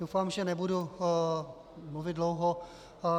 Doufám, že nebudu mluvit dlouho.